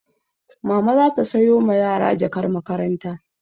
Mama za ta sayo ma yara sabon jakar makaranta.